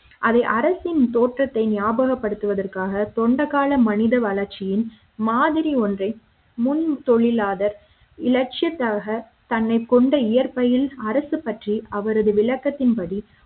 அதை அரசின் தோற்றத்தினை ஞாபகப்படுத்துவதற்காக தொண்டகால மனித வளர்ச்சியின் மாதிரி ஒன்றை முன் தொழிலாளர் இலட்சியத்துக்காக தன்னை கொண்ட இயற்பெயில் அரசு பற்றி அவரது விளக்கத்தின் படி